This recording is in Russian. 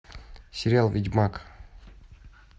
сериал ведьмак